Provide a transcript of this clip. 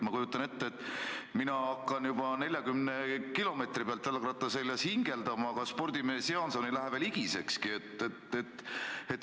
Ma kujutan ette, et mina hakkan juba 40 kilomeetri pealt jalgratta seljas hingeldama, aga spordimees Jaanson ei lähe veel higisekski.